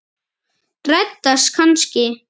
Reddast kannski?